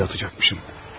Dəlili atacaqmışım.